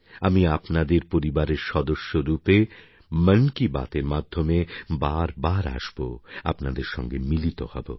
আমি আপনাদের পরিবারের সদস্যরূপে মন কি বাতএর মাধ্যমে বারবার আসব আপনাদের সঙ্গে মিলিত হব